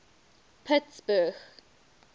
pittsburgh